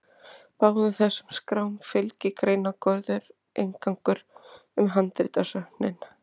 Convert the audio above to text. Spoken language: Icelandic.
Báðum þessum skrám fylgir greinargóður inngangur um handritasöfnin.